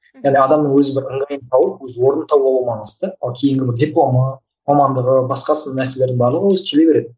әлі адамның өзі бір ыңғайын тауып өз орнын табуы маңызды ол кейінгі бір дипломы мамандығы басқасы нәрселердің барлығы өзі келе береді